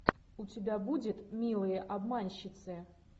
у тебя будет милые обманщицы